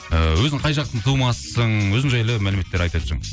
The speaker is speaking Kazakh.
ыыы өзің қай жақтың тумасысың өзің жайлы мәліметтер айта өтсең